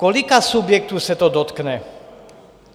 Kolika subjektů se to dotkne?